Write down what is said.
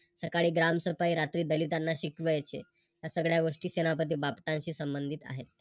सकाळी ग्रामसफाई रात्री दलितांना शिकवायचे. या सगळ्या गोष्टी सेनापती बापटांशी संबंधित आहे.